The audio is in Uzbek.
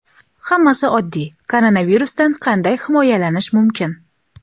Hammasi oddiy: koronavirusdan qanday himoyalanish mumkin?.